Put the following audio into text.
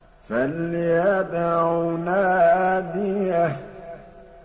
فَلْيَدْعُ نَادِيَهُ